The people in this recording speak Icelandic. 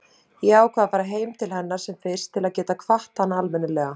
Ég ákvað að fara heim til hennar sem fyrst til að geta kvatt hana almennilega.